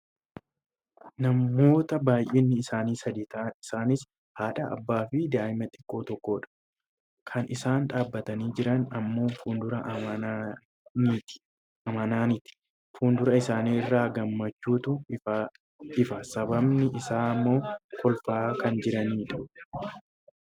namoota baayyinni isaanii sadi ta'an isaaniis haadha abbaa fi daa'ima xiqqaa tokkodha. kan isaan dhaabbatanii jiran ammoo fuuldura amanati. fuula isaani irraa gammachuutu ifa sababni isaa ammoo kolfaa kan jiranidha.